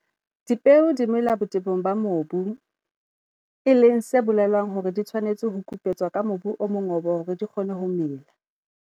Dipeo di mela botebong ba mobu, e leng se bolelang hore di tshwanetse ho kupetswa ke mobu o mongobo hore di kgone ho mela.